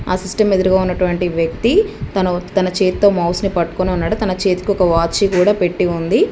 ఆ సిస్టమ్ ఎదురుగా ఉన్నటువంటి వ్యక్తి తను తన చేత్తో మౌస్ని పట్టుకొని ఉన్నాడు తన చేతికి ఒక వాచ్చి కూడా పెట్టి ఉంది.